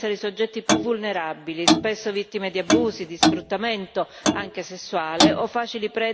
anche sessuale, o facili prede per il reclutamento da parte di organizzazioni criminali e di gruppi armati.